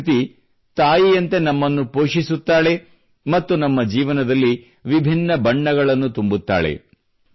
ಪ್ರಕೃತಿ ತಾಯಿಯಂತೆ ನಮ್ಮನ್ನು ಪೋಷಿಸುತ್ತಾಳೆ ಮತ್ತು ನಮ್ಮ ಜೀವನದಲ್ಲಿ ವಿಭಿನ್ನ ಬಣ್ಣಗಳನ್ನು ತುಂಬುತ್ತಾಳೆ